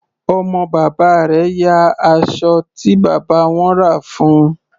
Ọmọ bàbá rẹ̀ ya aṣọ tí bàbá wọn rà fún un.